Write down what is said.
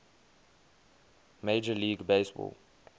major league baseball